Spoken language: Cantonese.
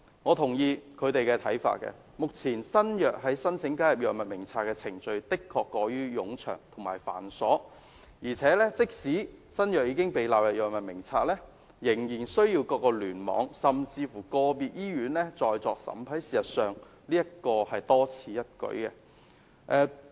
我同意他們的看法，目前新藥申請加入《藥物名冊》的程序的確過於冗長及繁瑣，即使新藥已經被納入《藥物名冊》，仍然需要各聯網甚至個別醫院審批，事實上這是多此一舉的。